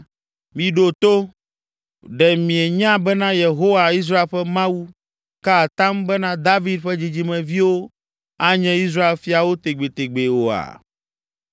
“Miɖo to! Ɖe mienya bena, Yehowa, Israel ƒe Mawu, ka atam bena David ƒe dzidzimeviwo anye Israel fiawo tegbetegbee oa?